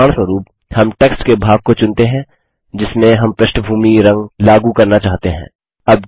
उदाहरणस्वरूप हम टेक्स्ट के भाग को चुनते हैं जिसमें हम पृष्ठभूमी रंगबैकग्राउंड कलर लागू करना चाहते हैं